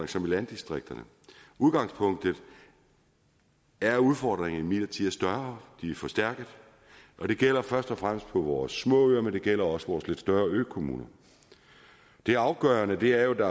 som i landdistrikterne udgangspunktet er at udfordringerne imidlertid er større de er forstærket og det gælder først og fremmest på vores små øer men det gælder også vores lidt større økommuner det afgørende er jo at